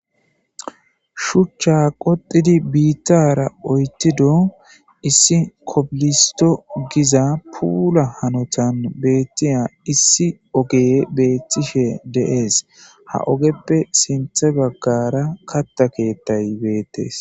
shuchcha qoxidi biittara oytido issi kobilisto giza puula hanotan beettiya issi oge beettishe deees ha ogeppe sinthe baggara katta keettay beettes